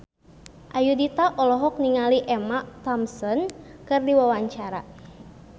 Ayudhita olohok ningali Emma Thompson keur diwawancara